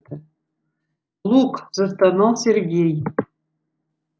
лук застонал сергей